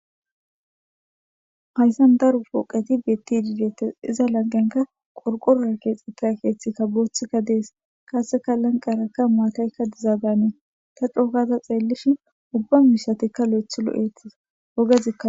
hayssan daru pooqeti betti diidetes iza lanqenka qorqorora keexxetta keeththikka booththikka dees kaaseka lanqarakka maataykka dizaa danee ta cookaza xeellishin ubba miishatikka lo7ethu lo7eettis ogazika